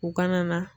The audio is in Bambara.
U kana na